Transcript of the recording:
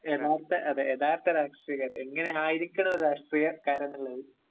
യഥാർത്ഥ, അതെ ഒരു യഥാർത്ഥ രാഷ്ട്രീയക്കാരൻ.എങ്ങനെയായിരിക്കണം ഒരു രാഷ്ട്രീയക്കാരൻ എന്നുള്ളത്...